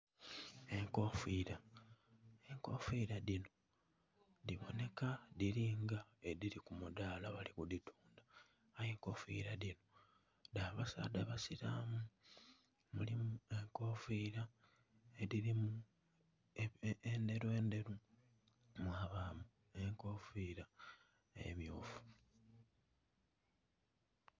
Enkofira enkofira dhino dhiboneka dhiri nga edhiri ku mudhala bali ku dhitundha eye nkofira dhino dha basaadha basilamu mulimu enkofira edhirimu endheru ndheru mwabamu enkofira emyufu.